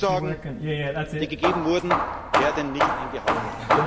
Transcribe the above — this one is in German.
Die Zusagen, die gegeben wurden, werden nicht eingehalten.